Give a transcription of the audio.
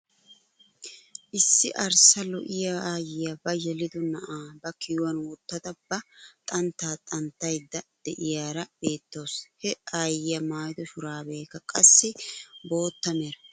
Issi arssa lo"iyaa ayiyaa ba yelido na'aa ba kiyuwaan wottada ba xanttaa xanttayda de'iyaara beettawus. he ayiyaa maayido shuraabeekka qassi bootta mera.